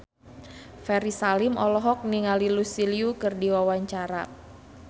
Ferry Salim olohok ningali Lucy Liu keur diwawancara